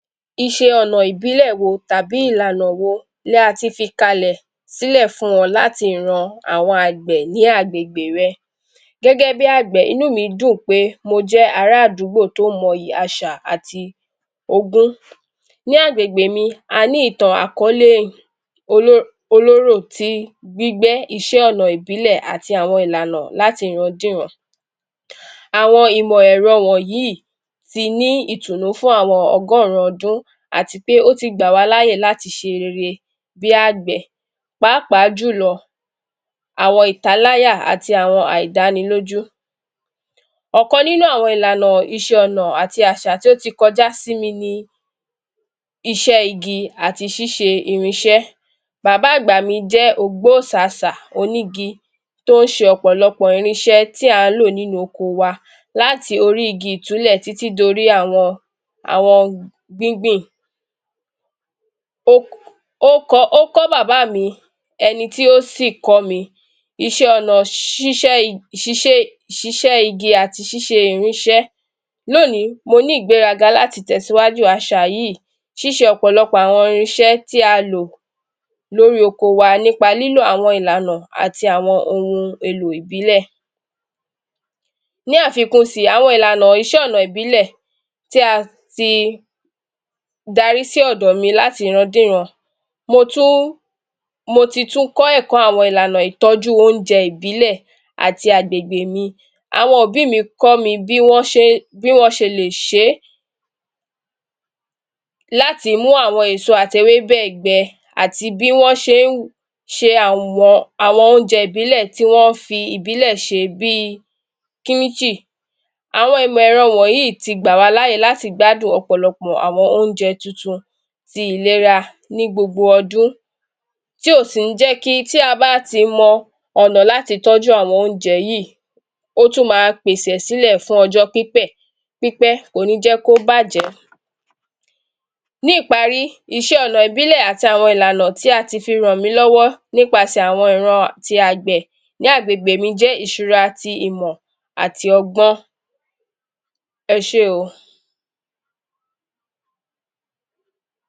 Ìṣe ọ̀nà ìbílẹ̀ wo tàbí ọ̀nà tàbí ìlànà wo ni a ti fi kalẹ̀ sílẹ̀ fún wọn láti ran àwọn agbẹ̀ ní agbègbè rẹ. Gẹ́gẹ́ bí agbẹ̀, inú mi dùn pé, mo jẹ ara àdúgbò tí ó mọ̀ ìyìn àṣà àti ogún. Ní agbègbè mi, a ní ìtàn àkọlé olórò tí gbígbẹ́ iṣẹ́ ọ̀nà ìbílẹ̀ àti àwọn ìlànà láti ìran dé ìran. Àwọn ìmọ̀ ẹ̀rọ wọ̀nyí tí ni ìtùnú fún àwọn ọgọ́rùn-ún ọdún àti pé ó ti gba wa láàyè láti ṣe rere bí agbẹ̀, pàápàá jù lọ, àwọn ìtàláya àti àwọn àìdánilójú. Ọ̀kan nínú àwọn ìlànà, ìṣe ọ̀nà àti àṣà tí ó ti kọjá sí mi ni iṣẹ́ igi àti ṣíṣẹ irínṣẹ́. Bàbá àgbà mi jẹ́ ogbó sàsà, igi tí ó ń ṣe ọ̀pọ̀lọpọ̀ irínṣẹ́ tí a ń lo nínú oko wa láti orí igi ìtúlẹ̀ títí dé orí àwọn gbíngbìn. Ó kọ̀ bàbá mi, ẹni tí ó sí kọ̀ mi, iṣẹ́ ọ̀nà ṣiṣẹ́ igi àti ṣíṣẹ irínṣẹ́, lónìí mo ní ìgbéraga láti tẹ síwájú àṣà yìí, ṣíṣe ọ̀pọ̀lọpọ̀ àwọn irínṣẹ́ tí a lo lórí oko wa nípa ìlànà àti ohun èlò ìbílẹ̀. Ní àfikún sí, àwọn ìlànà iṣẹ́ ọ̀nà ìbílẹ̀ tí a ti darí sí ọ̀dọ̀ mi láti ìran dé ìran, mo tún, mo ti tún kọ́ ẹ̀kọ́ ìlànà ìtọ́jú oúnjẹ ìbílẹ̀ àti àgbègbè mi, àwọn òbí mi kọ́ mi bí wọn ṣe le ṣé. Láti mú àwọn èso àti èwébè gbẹ́ àti bí wọn ṣe é ṣe àwọn oúnjẹ ìbílẹ̀ tí wọn fi ìbílẹ̀ ṣe bí kílíìkì. Àwọn ìmọ̀ ẹ̀rọ wọ̀nyí tí gba wa láàyè láti gba ọ̀pọ̀lọpọ̀ àwọn oúnjẹ tuntun sí ìlera ni gbogbo ọdún tí ó sì ní jẹ ki, tí a bá ti mọ ọ̀nà láti tọ́jú àwọn oúnjẹ yìí, ó tún máa pèsè sílẹ̀ fún ọjọ́ pípẹ́, pípẹ kò ní jẹ́ kí ó bàjẹ́. Ní ìparí, iṣẹ́ ọ̀nà ìbílẹ̀ àti ìlànà tí a ti fi ràn mí lọ́wọ́ nípasẹ̀ àwọn ìran tí agbẹ̀ ní agbègbè mi jẹ́ ìṣúra tí ìmọ̀ àti ọgbọ́n. Ẹ ṣe óò.